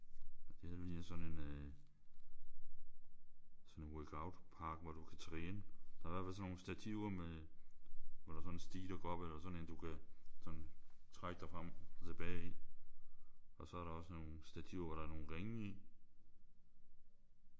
Og det her det ligner sådan en øh sådan en workout-park hvor du kan træne. Der er i hvert fald sådan nogle stativer med hvor der er sådan en stige der går op eller sådan en du kan sådan trække dig frem og tilbage i. Og så er der også nogle stativer hvor der er ringe i